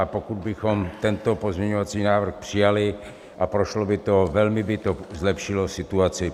A pokud bychom tento pozměňovací návrh přijali a prošlo by to, velmi by to zlepšilo situaci.